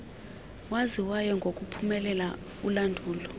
waziwayo ngokuphumelela ulandulo